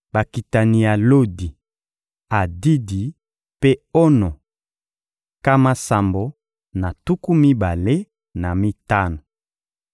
Bakitani ya Lodi, Adidi mpe Ono: nkama sambo na tuku mibale na mitano.